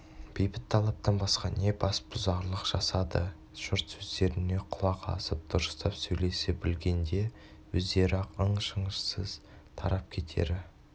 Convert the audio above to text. бейбіт талаптан басқа не бас бұзарлық жасады жұрт сөздеріне құлақ асып дұрыстап сөйлесе білгенде өздері-ақ ың-шыңсыз тарап кетері